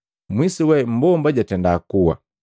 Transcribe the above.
Mwisuwe mmbomba jatenda kuwa.